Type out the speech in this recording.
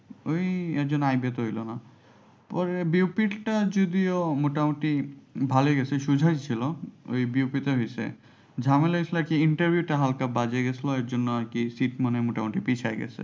ওই এর জন্য তে হলো না এটা যদিও মোটামুটি ভালোই গেছে সোজাই ছিল ওই ঝামেলা হয়েছিল কি interview টা হালকা বাজে গেছিল ওই জন্য আর কি sit মনে হয় মোটামুটি পিছিয়ে গেছে।